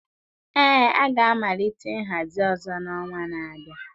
Ee, a ga-amalite nhazi ọzọ n'ọnwa na-abịa